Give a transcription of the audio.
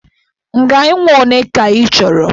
Ngaị nwa ole ka ị chọrọ?